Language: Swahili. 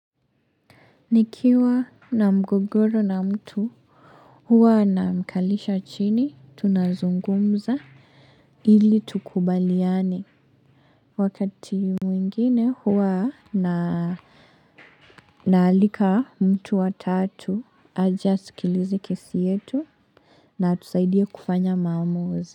Nikiwa na mgogoro na mtu huwa namkalisha chini tunazungumza ili tukubaliane wakati mwingine huwa na naalika mtu wa tatu aje asikilize kesi yetu na atusaidie kufanya maamuzi.